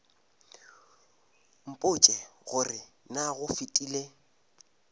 mpotše gore na go fetile